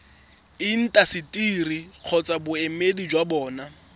intaseteri kgotsa boemedi jwa bona